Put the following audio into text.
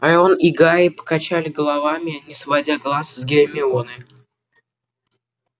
рон и гарри покачали головами не сводя глаз с гермионы